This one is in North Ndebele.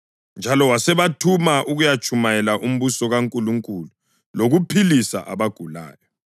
njalo wasebathuma ukuyatshumayela umbuso kaNkulunkulu lokuphilisa abagulayo,